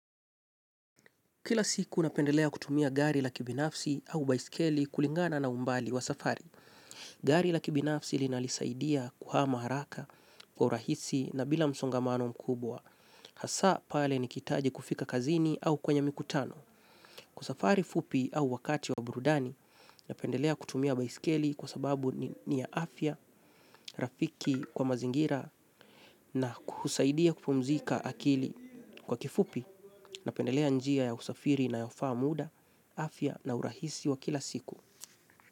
Kila siku napendelea kutumia gari la kibinafsi au baiskeli kulingana na umbali wa safari. Gari la kibinafsi linalisaidia kuhama haraka kwa urahisi na bila msongamano mkubwa. Hasa pale nikihitaji kufika kazini au kwenye mikutano. Kwa safari fupi au wakati wa burudani, napendelea kutumia baiskeli kwa sababu ni ya afya, rafiki kwa mazingira na husaidia kupumzika akili. Kwa kifupi, napendelea njia ya usafiri inayofaa muda, afya na urahisi wa kila siku.